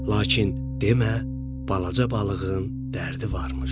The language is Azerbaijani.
Lakin demə, balaca balığın dərdi varmış.